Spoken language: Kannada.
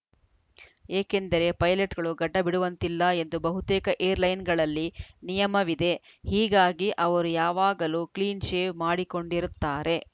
ಏಕೆಂದರೆ ಪೈಲಟ್‌ಗಳು ಗಡ್ಡ ಬಿಡುವಂತಿಲ್ಲ ಎಂದು ಬಹುತೇಕ ಏರ್‌ಲೈನ್ಸ್‌ಗಳಲ್ಲಿ ನಿಯಮವಿದೆ ಹೀಗಾಗಿ ಅವರು ಯಾವಾಗಲೂ ಕ್ಲೀನ್‌ ಶೇವ್‌ ಮಾಡಿಕೊಂಡಿರುತ್ತಾರೆ